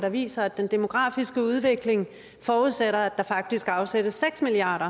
der viser at den demografiske udvikling forudsætter at der faktisk afsættes seks milliard